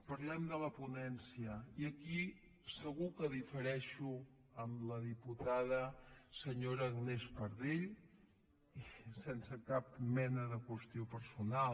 parlem de la ponència i aquí segur que difereixo amb la diputada senyora agnès pardell i sense cap mena de qüestió personal